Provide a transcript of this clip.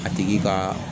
A tigi ka